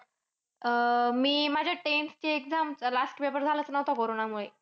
अह मी माझ्या tenth ची exam. Last paper झालाच नव्हता कोरोनामुळे